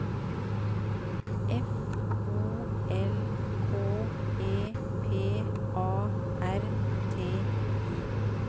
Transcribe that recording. F O L K E P A R T I